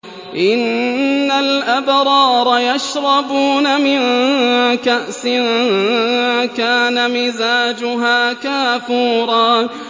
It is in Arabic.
إِنَّ الْأَبْرَارَ يَشْرَبُونَ مِن كَأْسٍ كَانَ مِزَاجُهَا كَافُورًا